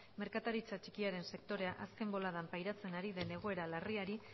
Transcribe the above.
merkataritza txikiaren sektorea azken boladan pairatzen ari den egoera larriari